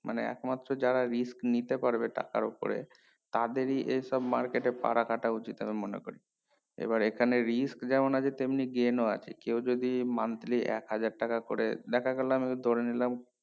মানে একমাত্র যারা risk নিতে পারবে টাকার উপরে তাদেরি এই সব market এ পা রাখা টা উচিত হবে মনে করছি এবার এখানে risk যেমন আছে তেমনি gain ও আছে কেও যদি monthly একহাজার টাকা করে দেখা গেলো আমি ধরে নিলাম